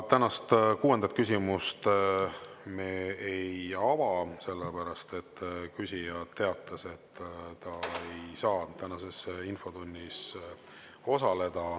Tänast kuuendat küsimust me ei ava, sellepärast et küsija teatas, et ta ei saa tänases infotunnis osaleda.